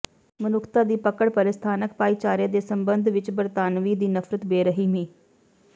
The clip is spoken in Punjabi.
ਮਨੁੱਖਤਾ ਦੀ ਪਕੜ ਪਰੇ ਸਥਾਨਕ ਭਾਈਚਾਰੇ ਦੇ ਸਬੰਧ ਵਿਚ ਬਰਤਾਨਵੀ ਦੀ ਨਫ਼ਰਤ ਬੇਰਹਿਮੀ